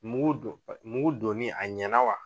Mugu dɔn, mugu donni a ɲɛna wa?